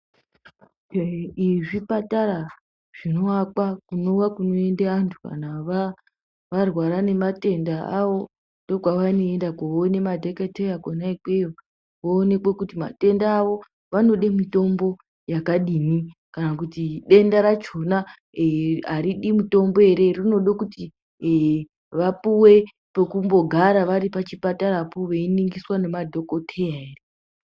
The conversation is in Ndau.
Zvipatara zvinovakwa kunova kunoenda vantu kana varwara ngematenda avo ndiko kwavanoenda kunoona madhokodheya kune ikweyo voonekwa kuti matenda avo vanoda mitombo yakadii kana kuti denda rachona haridi mitombo here rinoda kuti vapiwe pekumbogara varipachipatarapo veiningiswa namadhokodheya here.